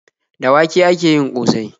Da wake ake yin ƙosai.